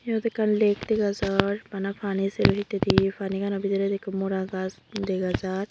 iyot ekkan lake dega jar bana pani sero hittedi panigano bidredi ikko mora gaas dega jar.